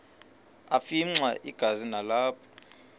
afimxa igazi nalapho